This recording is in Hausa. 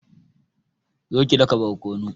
zo ki daka barkonu